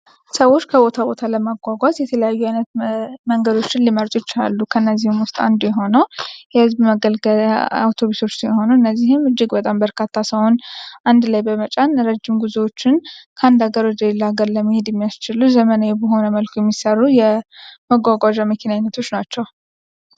ሰዎች ከቦታ ቦታ ለማጓጓዝ የተለያዩ አይነት መንገዶችን ሊመርጡ ይለላሉ ከእነዚህም ውስጥ አንዱ የሆነው የህዝብ መገልገያ አውቶብሶች ሲሆኑ እነዚህም እጅግ በርካታ ሰዎችን አንድ ላይ በመጫን ረጅም ጉዞዎችን ከአንድ ሀገር ወደሌላ ሀገር ለመሄድ የሚያስችሉ ዘመናዊ በሆነ መልክ የሚሰሩ የመጓጓዣ አይነቶች ናቸው።